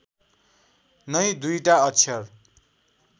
नै दुईटा अक्षर